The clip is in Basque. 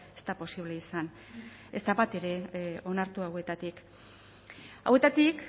ez da posible izan ez da bat ere onartu hauetatik hauetatik